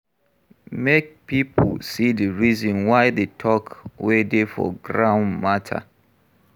Make pipo see di reason why the talk wey dey for ground matter